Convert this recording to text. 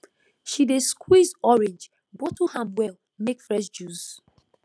she dey squeeze orange bottle am well make fresh juice